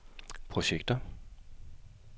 projekter